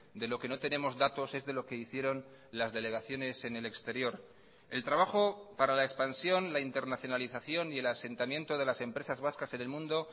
de lo que no tenemos datos es de lo que hicieron las delegaciones en el exterior el trabajo para la expansión la internacionalización y el asentamiento de las empresas vascas en el mundo